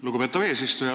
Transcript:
Lugupeetav eesistuja!